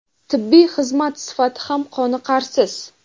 tibbiy xizmat sifati ham qoniqarsiz.